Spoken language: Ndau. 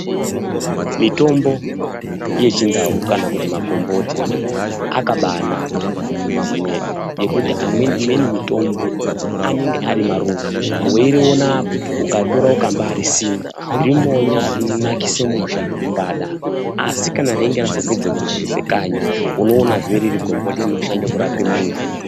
Mitombo yeChiNdau kana kuti makomboti akabanaka mumizi mwedu ngekuti amweni imweni mitombo anenge ari maruva, weiriona apa ukaritora ukambarisima rinonakisa musha zvekumbadaro, Asi kana reinge razopedza kunakise kanyi unoonazve riri gomboti rinoshande kurape muntu.